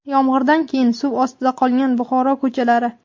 Yomg‘irdan keyin suv ostida qolgan Buxoro ko‘chalari .